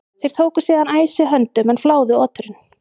Þeir tóku síðan æsi höndum en fláðu oturinn.